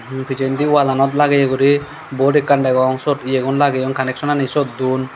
he pijendi wallanot lagete guri bod ekkan degong siyot yegun lageyon kaneksonani siyot duon.